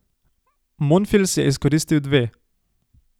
Monfils je izkoristil dve.